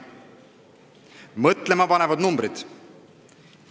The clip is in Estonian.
Mõtlemapanevad arvud.